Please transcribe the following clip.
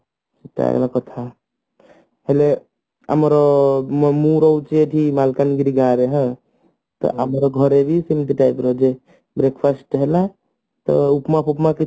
ସେଟା ହେଲା କଥା ହେଲେ ଆମର ମୁଁ ମୁଁ ରହୁଛି ଏଠି ମାଲକାନଗିରି ଗାଁରେ ହାଁ ଆମର ଘରେ ବି ସେମତି type ର ଯେ breakfast ହେଲା ତ ଉପମା ଫୁପମା କିଛି